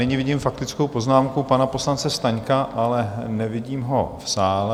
Nyní vidím faktickou poznámku pana poslance Staňka, ale nevidím ho v sále.